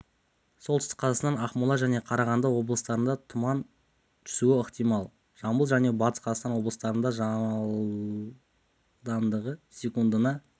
солтүстік қазақстан ақмола және қарағанды облыстарында тұман түсуі ықтимал жамбыл және батыс қазақстан облыстарында жылдамдығы секундына